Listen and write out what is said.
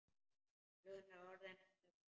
Klukkan er orðin ellefu.